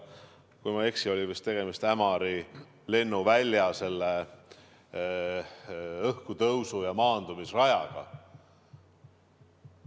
Kui ma ei eksi, oli vist tegemist Ämari lennuvälja õhkutõusu- ja maandumisrajaga.